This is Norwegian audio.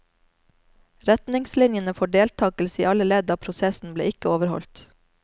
Retningslinjene for deltakelse i alle ledd av prosessen ble ikke overholdt.